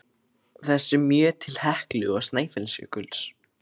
þessum mjög til Heklu og Snæfellsjökuls.